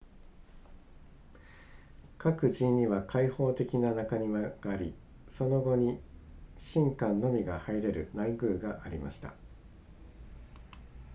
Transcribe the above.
各寺院には開放的な中庭がありその後に神官のみが入れる内宮がありました